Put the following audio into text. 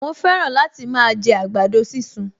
Mo fẹ́ràn láti máa jẹ àgbàdo sísun